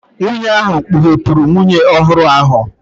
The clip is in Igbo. Nwunye ahụ kpughepụrụ nwunye ọhụrụ ahụ.